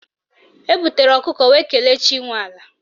Ebutere ọkụkọ wee kelee chi nwe ala